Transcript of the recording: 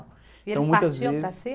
Então, muitas vezes... eles partiam para cima?